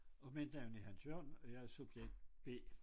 Og mit navn er Hans Jørgen og jeg er subjekt B